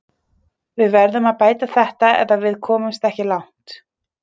Við verðum að bæta þetta eða við komumst ekki langt